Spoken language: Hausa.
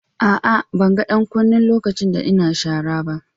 Aa, ban gan dan kunin lokacin da n'na sharan ba.